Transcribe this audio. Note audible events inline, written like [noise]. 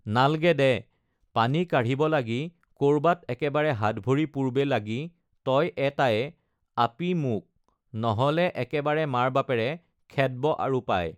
[unintelligible] নালগে দে [noise] uhh পানী কাঢ়িব লাগি কৰবাত একেবাৰে হাত ভৰি পুৰবে লাগি তই এটায়ে [unintelligible] আপী মোক নহ’লে একেবাৰে মাৰে-বাপেৰে খেদব আৰু পাই